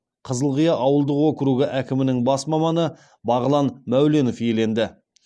қызылқия ауылдық округі әкімінің бас маманы бағлан мәуленов иеленді